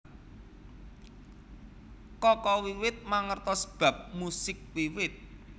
Kaka wiwit mangertos bab musik wiwit